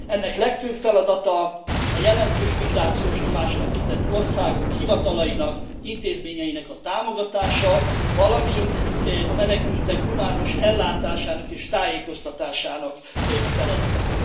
Ennek legfőbb feladata a jelentős migrációs nyomásnak kitett országok hivatalainak, intézményeinek a támogatása, valamint a menekültek humánus ellátásának és tájékoztatásának a feladata.